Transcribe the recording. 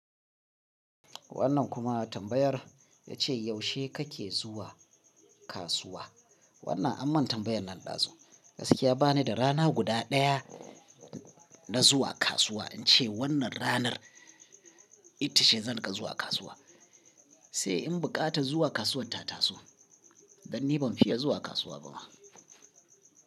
Wannan kuma tambayar ya ce yaushe kake zuwa kasuwa? Wannan aman tambayar nan ɗazu. Gaskiya bani da rana guda daya na zuwa kasuwa, in ce wannan ranar itace zan rika zuwa kasuwa. Sai in buƙata zuwa kasuwar Tataso, dan ni ban fiye zuwa kasuwa bama.